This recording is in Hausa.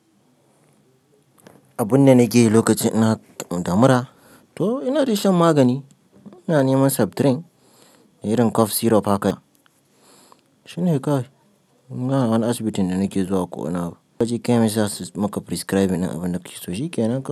Abunda nake yi lokacin ina da mura to ina tashi shan magani. Ina neman septrin da irin cough syrup haka. Shine kai. Ba wani asibitin da nake zuwa ko ina. Lokacin kayan yasa maka prescribe in abunda kiyi so shi yake nan kai.